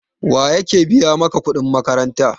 Waye yake biya maka kuɗin makaranta?